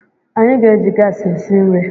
Anyị ga-eji gas esi nri